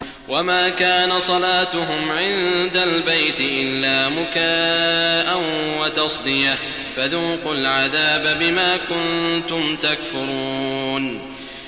وَمَا كَانَ صَلَاتُهُمْ عِندَ الْبَيْتِ إِلَّا مُكَاءً وَتَصْدِيَةً ۚ فَذُوقُوا الْعَذَابَ بِمَا كُنتُمْ تَكْفُرُونَ